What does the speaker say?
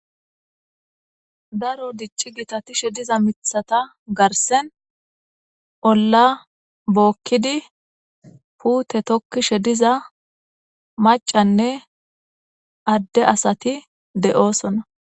Daro dicci gitatishe diza mithata garsen olla bookkidi puute tokkishe diza macanne adde asati de'oosona.